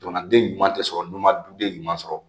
Jamanaden ɲuman tɛ sɔrɔ n'i ma duden ɲuman sɔrɔ